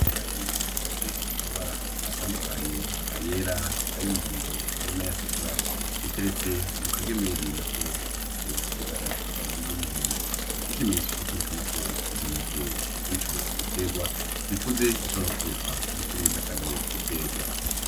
Ibiharage bifise amabara atandukanye, ayera, ay'umuhondo, n'ayatukura, biteretse mu kagemeri nako gafise ibara ry'umuhondo, ikimenyetso co kwerekana ko izo nte z'ico gitegwa, zikuze zishobora gukoreshwa mu kuribwa canke gutegwa.